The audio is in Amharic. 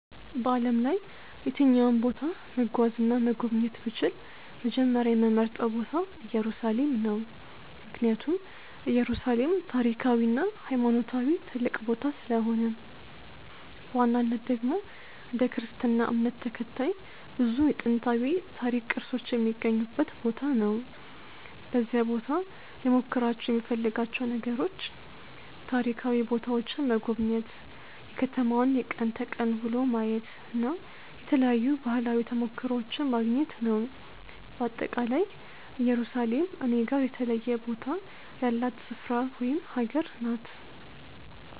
በዓለም ላይ የትኛውም ቦታ መጓዝ እና መጎብኘት ብችል፣ መጀመሪያ የምመርጠው ቦታ ኢየሩሳሌም ነው። ምክንያቱም ኢየሩሳሌም ታሪካዊ እና ሃይማኖታዊ ትልቅ ቦታ ስለሆነ ነው። በዋናነት ደግሞ እንደ ክርስትና እምነት ተከታይ ብዙ የጥንታዊ ታሪክ ቅርሶች የሚገኙበት ቦታ ነው። በዚያ ቦታ ልሞክራቸው የምፈልጋቸው ነገሮች፦ ታሪካዊ ቦታዎችን መጎብኘት፣ የከተማዋን የቀን ተቀን ውሎ ማየት እና የተለያዩ ባህላዊ ተሞክሮዎችን ማግኘት ነው። በአጠቃላይ ኢየሩሳሌም እኔ ጋር የተለየ ቦታ ያላት ስፍራ ወይም አገር ናት።